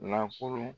Nafolo